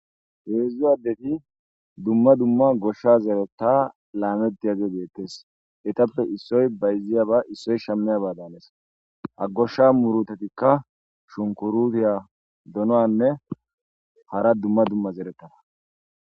heedzdzu addeti dumma dumma goshsha zeereta laamettiyage geettes etappe issoy bayziya ba issoy shammeya baadanes ha goshsha murutetikka shunkurutiya donoanne hara dumma dumma zerettana